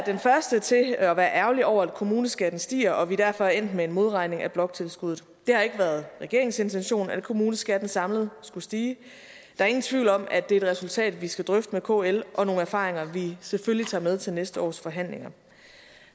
den første til at være ærgerlig over at kommuneskatten stiger og at vi derfor er endt med en modregning af bloktilskuddet det har ikke været regeringens intention at kommuneskatten samlet skulle stige der er ingen tvivl om at det er et resultat vi skal drøfte med kl og at nogle erfaringer vi selvfølgelig tager med til næste års forhandlinger